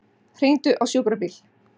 Hringdu á sjúkrabíl.